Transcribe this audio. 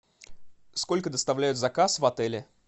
сколько доставляют заказ в отеле